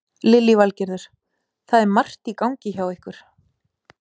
Lillý Valgerður: Það er margt í gangi hjá ykkur?